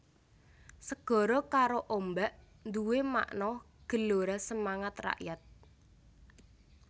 Segara karo ombak nduwè makna gelora semangat rakyat